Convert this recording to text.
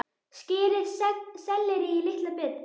Skerið sellerí í litla bita.